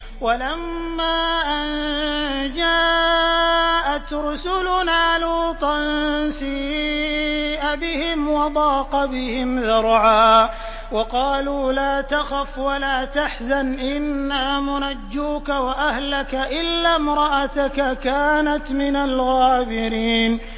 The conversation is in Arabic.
وَلَمَّا أَن جَاءَتْ رُسُلُنَا لُوطًا سِيءَ بِهِمْ وَضَاقَ بِهِمْ ذَرْعًا وَقَالُوا لَا تَخَفْ وَلَا تَحْزَنْ ۖ إِنَّا مُنَجُّوكَ وَأَهْلَكَ إِلَّا امْرَأَتَكَ كَانَتْ مِنَ الْغَابِرِينَ